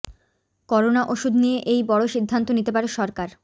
corona ওষুধ নিয়ে এই বড় সিদ্ধান্ত নিতে পারে সরকার